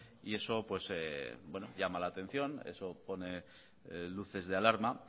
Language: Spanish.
y eso pues llama la atención eso pone luces de alarma